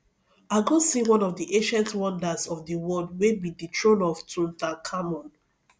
i go see one of the ancient wonders of the world wey be the throne of tutankhamun